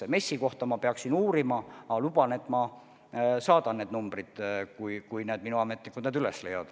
MES-i kohta ma peaksin uurima, aga luban, et ma saadan need numbrid, kui minu ametnikud need üles leiavad.